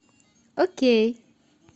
окей